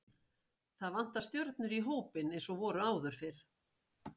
Það vantar stjörnur í hópinn eins og voru áður fyrr.